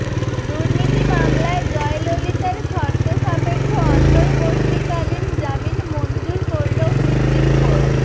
দুর্নীতি মামলায় জয়ললিতার শর্তসাপেক্ষ অন্তর্বর্তীকালীন জামিন মঞ্জুর করল সুপ্রিম কোর্ট